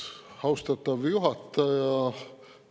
Austatav juhataja!